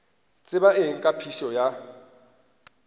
tseba eng ka phišo ya